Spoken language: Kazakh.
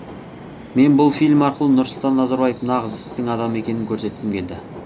мен бұл фильм арқылы нұрсұлтан назарбаев нағыз істің адамы екенін көрсеткім келді